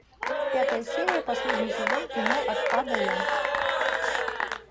пятая серия последний сезон кино от а до я